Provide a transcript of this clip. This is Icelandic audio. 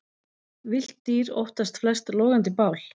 Villt dýr óttast flest logandi bál.